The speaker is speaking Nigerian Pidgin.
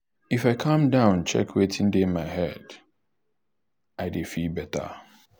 if i calm down check wetin dey my head um i dey feel um better.